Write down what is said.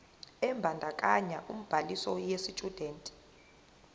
ebandakanya ubhaliso yesitshudeni